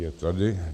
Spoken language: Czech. Je tady.